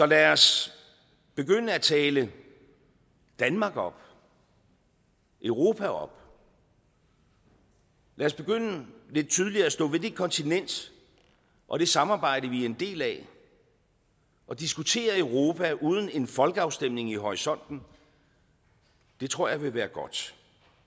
lad os begynde at tale danmark op europa op lad os begynde lidt tydeligere at stå ved det kontinent og det samarbejde vi er en del af og diskutere europa uden en folkeafstemning i horisonten det tror jeg vil være godt